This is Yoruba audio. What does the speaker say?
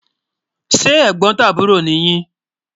se Ẹ̀gbótàbúrọ̀ ni yi?